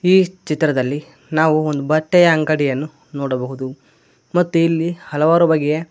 ಈ ಚಿತ್ರದಲ್ಲಿ ನಾವು ಒಂದು ಬಟ್ಟೆಯ ಅಂಗಡಿಯನ್ನು ನೋಡಬಹುದು ಮತ್ತು ಇಲ್ಲಿ ಹಲವಾರು ಬಗೆಯ--